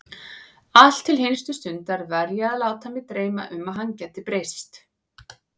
Allt til hinstu stundar var ég að láta mig dreyma um að hann gæti breyst.